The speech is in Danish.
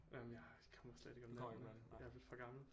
Jamen jeg kommer slet ikke om natten jeg er blevet for gammel